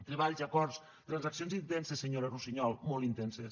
treballs acords transaccions intenses senyora russiñol molt intenses